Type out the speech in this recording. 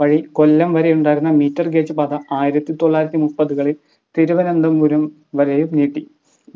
വഴി കൊല്ലം വരെയുണ്ടായിരുന്ന meter gauge പാത ആയിരത്തിതൊള്ളായിരത്തി മുപ്പത്കളിൽ തിരുവനന്തപുരം വരെ നീട്ടി